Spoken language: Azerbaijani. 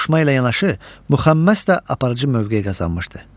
Qoşma ilə yanaşı muxəmməs də aparıcı mövqe qazanmışdı.